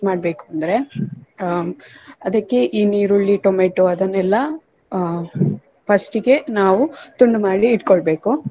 ಮಾಡ್ಬೇಕಂದ್ರೆ ಅಹ್ ಅದಕ್ಕೆ ಈ ನೀರುಳ್ಳಿ ಟೊಮೇಟೊ ಅದನ್ನೆಲ್ಲ ಅಹ್ first ಗೆ ನಾವು ತುಂಡು ಮಾಡಿ ಇಟ್ಕೊಳ್ಬೇಕು .